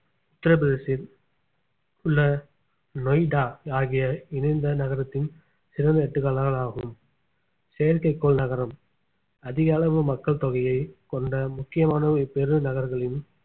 உத்திரபிரதேசத்தில் உள்ள நொய்டா ஆகிய இணைந்த நகரத்தின் சிறந்த எடுத்துக்காட்டுகள் ஆகும் செயற்கைக்கோள் நகரம் அதிக அளவு மக்கள் தொகையை கொண்ட முக்கியமான ஒரு பெருநகரங்களின்